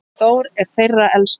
Þór er þeirra elstur.